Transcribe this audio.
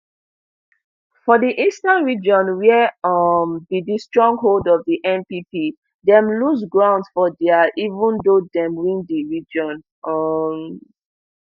for di eastern region wia um be di stronghold of di npp dem lose grounds for dia even though dem win di region um